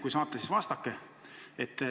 Kui saate, siis vastake.